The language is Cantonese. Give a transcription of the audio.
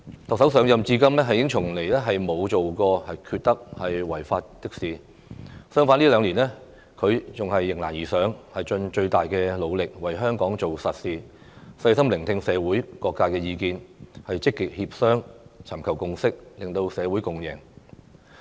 特首上任至今從來沒有做過缺德、違法的事，相反這兩年來她迎難而上，盡最大努力為香港做實事，細心聆聽社會各界意見，積極協商，尋求共識，令社會共贏。